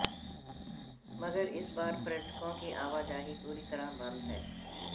मगर इस बार पर्यटकों की आवाजाही पूरी तरह बंद है